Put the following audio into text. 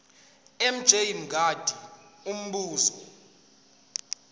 mj mngadi umbuzo